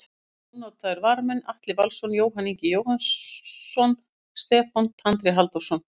Ónotaðir varamenn: Atli Valsson, Jóhann Ingi Jóhannsson, Stefán Tandri Halldórsson.